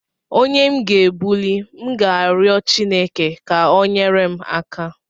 Onye m ga egbuli, m ga-arịọ Chineke ka o nyere m aka?